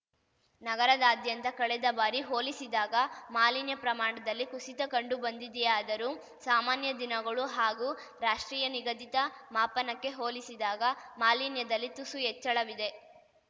ನಗರದಾದ್ಯಂತ ಕಳೆದ ಬಾರಿ ಹೋಲಿಸಿದಾಗ ಮಾಲಿನ್ಯ ಪ್ರಮಾಣದಲ್ಲಿ ಕುಸಿತ ಕಂಡು ಬಂದಿದೆಯಾದರೂ ಸಾಮಾನ್ಯ ದಿನಗಳು ಹಾಗೂ ರಾಷ್ಟ್ರೀಯ ನಿಗದಿತ ಮಾಪನಕ್ಕೆ ಹೋಲಿಸಿದಾಗ ಮಾಲಿನ್ಯದಲ್ಲಿ ತುಸು ಹೆಚ್ಚಳವಿದೆ